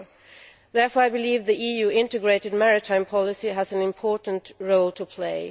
I therefore believe that the EU integrated maritime policy has an important role to play.